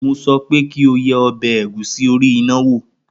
Mo sọ pé kí o ye ọbẹ̀ ẹ̀gúsí orí iná wò!